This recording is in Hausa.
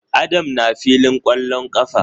Adam na filin kwallon kafar?